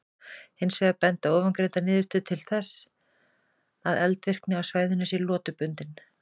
Hins vegar benda ofangreindar niðurstöður til þess að eldvirkni á svæðinu sé lotubundin.